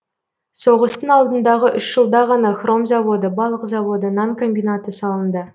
соғыстың алдындағы үш жылда ғана хром заводы балық заводы нан комбинаты салынды